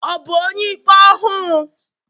Ọ̀ bu onye-ikpé ọhu?